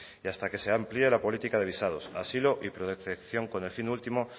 y hasta que se amplíe la política de visados asilo y pre detección con el fin último